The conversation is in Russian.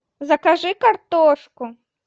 закажи картошку